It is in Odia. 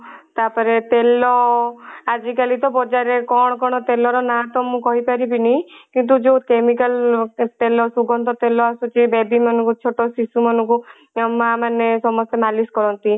ତାପରେ ତେଲ ଆଜି କାଲି ତ ବଜାର ରେ କଣ କଣ ତେଲ ର ନାଁ ତ ମୁଁ କହି ପାରିବିନି କିନ୍ତୁ ଯଉ chemical ତେଲ ସୁଗନ୍ଧ ତେଲ ଆସୁଛି baby ମାନଙ୍କୁ ଛୋଟ ଶିଶୁ ମାନଙ୍କୁ ତାଙ୍କ ମା ମାନେ ସମସ୍ତେ ମାଲିସ କରନ୍ତି